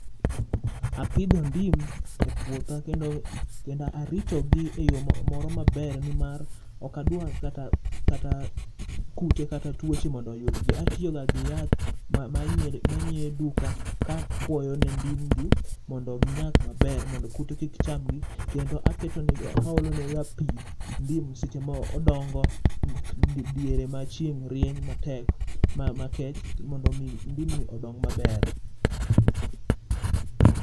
Apidho ndim e puotha kendo arito gi e yoo moro maber nimar okadwa kata kute kata tuoche oyudgi, atiyo ga gi yath manyiew e duka ka akuoyo ne ndim gi mondo ginyak maber mondo kute kik chamgi kendo aolo nega pii ndim seche ma odongo diere ma chieng rieny matek makech mondo ndim ni odong maber